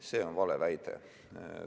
See on vale väide.